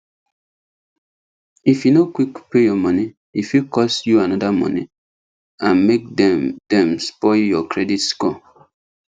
if you no quick pay your money e fit cause you another money and make dem dem spoil your credit score